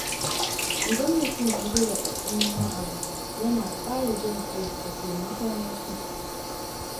Idan mutum ya ji raɗaɗin wani abu, yana ƙara jin-ƙai da taimakon wasu.